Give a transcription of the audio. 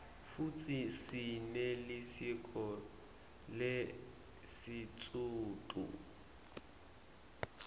futsi sinelisiko lesisutfu